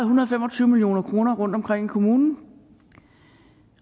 hundrede og fem og tyve million kroner rundt omkring i kommunen